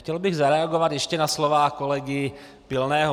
Chtěl bych zareagovat ještě na slova kolegy Pilného.